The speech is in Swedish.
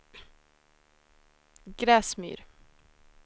Gräsmyr